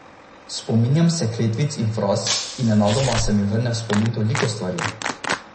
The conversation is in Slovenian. Spominjam se kletvic in fraz, in nenadoma se mi vrne v spomin toliko stvari.